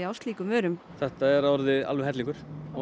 slíkum vörum þetta er orðið alveg hellingur